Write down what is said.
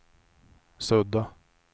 sudda